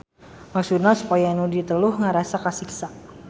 Maksudna supaya nu diteluh ngarasa kasiksa.